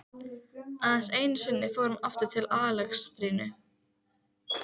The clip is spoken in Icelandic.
Aðeins einusinni fór hann aftur til Alexandríu.